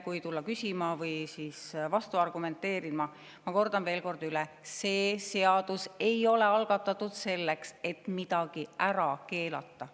Kui on veel keegi, kes ei ole sellest aru saanud, siis kordan üle: see eelnõu ei ole algatatud selleks, et midagi ära keelata.